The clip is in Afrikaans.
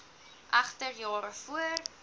egter jare voor